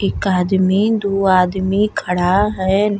एक आदमी दो आदमी खड़ा हैं।